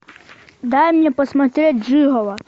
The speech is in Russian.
дай мне посмотреть жиголо